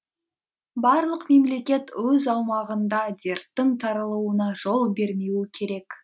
барлық мемлекет өз аумағында дерттің таралуына жол бермеуі керек